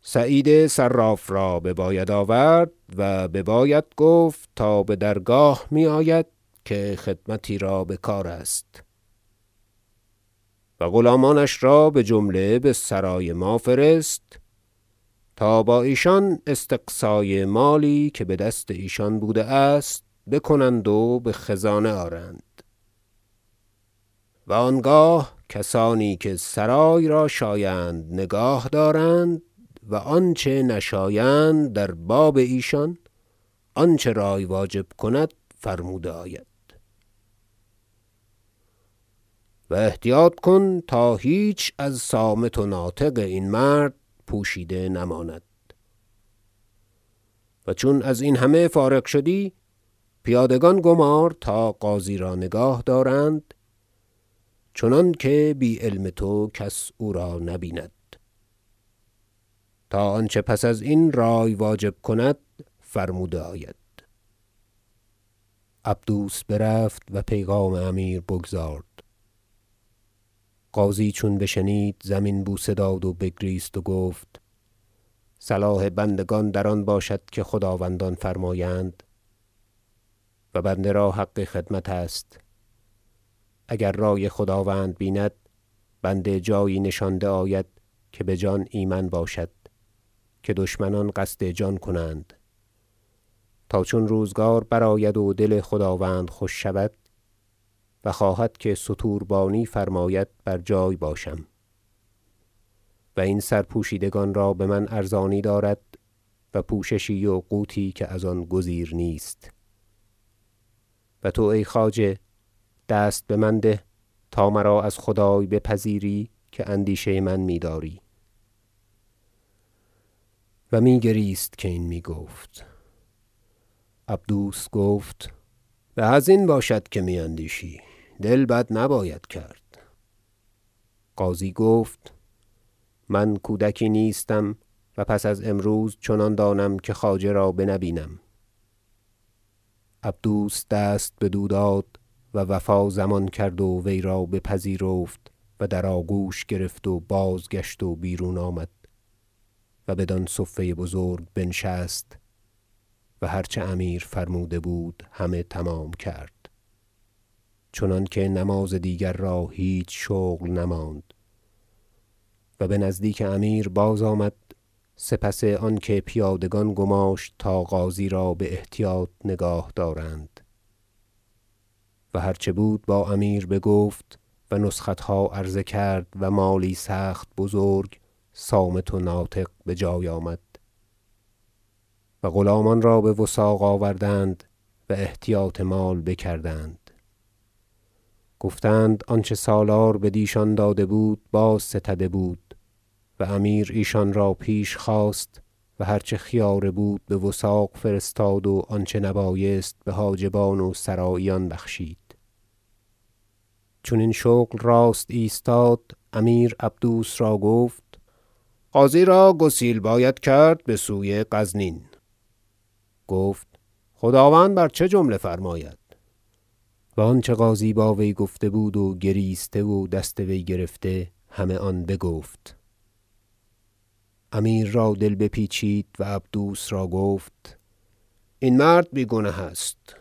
سعید صراف را بباید آورد و بباید گفت تا بدرگاه می آید که خدمتی را بکار است و غلامانش را بجمله بسرای ما فرست تا با ایشان استقصای مالی که بدست ایشان بوده است بکنند و بخزانه آرند و آنگاه کسانی که سرای را شایند نگاه دارند و آنچه نشایند در باب ایشان آنچه رای واجب کند فرموده آید و احتیاط کن تا هیچ از صامت و ناطق این مرد پوشیده نماند و چون ازین همه فارغ شدی پیادگان گمار تا غازی را نگاه دارند چنانکه بی علم تو کس او را نبیند تا آنچه پس ازین از رأی واجب کند فرموده آید عبدوس برفت و پیغام امیر بگزارد غازی چون بشنید زمین بوسه داد و بگریست و گفت صلاح بندگان در آن باشد که خداوندان فرمایند و بنده را حق خدمت است اگر رأی خداوند بیند بنده جایی نشانده آید که بجان ایمن باشد که دشمنان قصد جان کنند تا چون روزگار برآید و دل خداوند خوش شود و خواهد که ستوربانی فرماید بر جای باشم و این سرپوشیدگان را بمن ارزانی دارد و پوششی و قوتی که از آن گزیر نیست و تو ای خواجه دست بمن ده تا مرا از خدای بپذیری که اندیشه من میداری و میگریست که این میگفت عبدوس گفت به ازین باشد که می اندیشی دل بد نباید کرد غازی گفت من کودکی نیستم و پس از امروز چنان دانم که خواجه را بنه بینم عبدوس دست بدو داد و وفا ضمان کرد و وی را بپذیرفت و در آگوش گرفت و بازگشت و بیرون آمد و بدان صفه بزرگ بنشست و هرچه امیر فرموده بود همه تمام کرد چنانکه نماز دیگر را هیچ شغل نماند و بنزدیک امیر بازآمد سپس آنکه پیادگان گماشت تا غازی را باحتیاط نگاه دارند و هرچه بود با امیر بگفت و نسختها عرضه کرد و مالی سخت بزرگ صامت و ناطق بجای آمد و غلامان را بوثاق آوردند و احتیاط مال بکردند گفتند آنچه سالار بدیشان داده بود بازستده بود و امیر ایشان را پیش خواست و هر چه خیاره بود بوثاق فرستاد و آنچه نبایست بحاجبان و سراییان بخشید چون این شغل راست ایستاد امیر عبدوس را گفت غازی را گسیل باید کرد بسوی غزنین گفت خداوند بر چه جمله فرماید و آنچه غازی با وی گفته بود و گریسته و دست وی گرفته همه آن بگفت امیر را دل به پیچید و عبدوس را گفت این مرد بی گنه است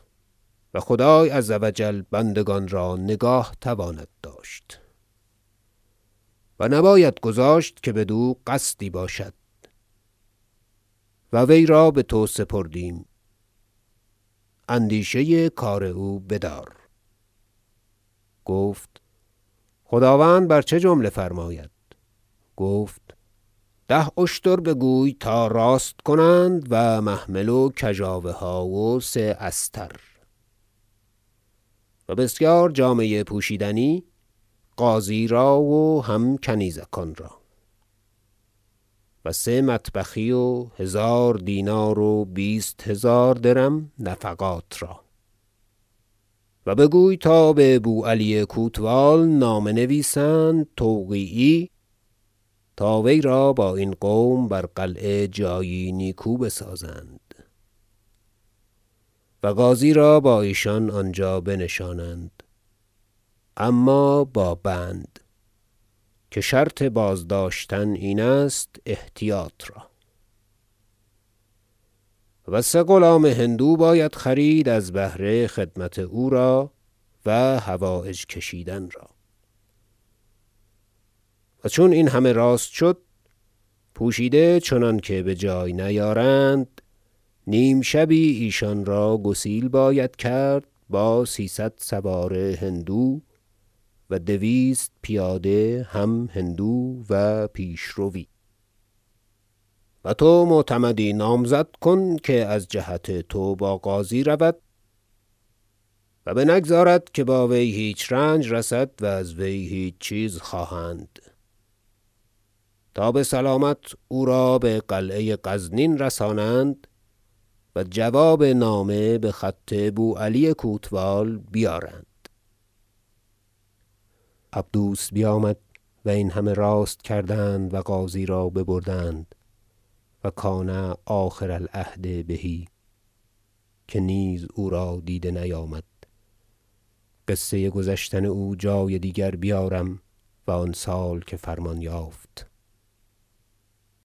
و خدای عزوجل بندگان را نگاه تواند داشت و نباید گذاشت که بدو قصدی باشد و وی را بتو سپردیم اندیشه کار او بدار گفت خداوند بر چه جمله فرماید گفت ده اشتر بگوی تا راست کنند و محمل و کژاوه ها و سه استر و بسیار جامه پوشیدنی غازی را و هم کنیزکان را و سه مطبخی و هزار دینار و بیست هزار درم نفقات را و بگوی تا ببو علی کوتوال نامه نویسند و توقیعی تا وی را با این قوم بر قلعه جایی نیکو بسازند و غازی را با ایشان آنجا بنشانند اما با بند که شرط بازداشتن این است احتیاط را و سه غلام هندو باید خرید از بهر خدمت او را و حوایج کشیدن را و چون این همه راست شد پوشیده چنانکه بجای نیارند نیم شبی ایشان را گسیل باید کرد با سیصد سوار هندو و دویست پیاده هم هندو و پیشروی و تو معتمدی نامزد کن که از جهت تو با غازی رود و بنگذارد که با وی هیچ رنج رسد و از وی هیچ چیز خواهند تا بسلامت او را به قلعه غزنین رسانند و جواب نامه بخط بو علی کوتوال بیارند عبدوس بیامد و این همه راست کردند و غازی را ببردند و کان آخر العهد به که نیز او را دیده نیامد قصه گذشتن او جای دیگر بیارم و آن سال که فرمان یافت